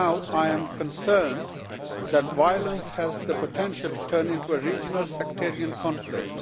I am concerned that violence has the potential to turn into a regional, sectarian conflict.